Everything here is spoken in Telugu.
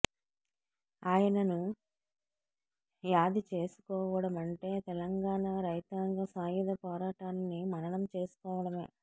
ఆయనను యాది చేసుకోవడమంటే తెలంగాణ రైతాంగ సాయుధ పోరాటాన్ని మననం చేసుకోవడమే